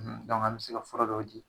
Nka an mi se ka fura dɔw di